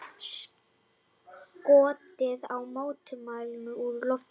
Skotið á mótmælendur úr lofti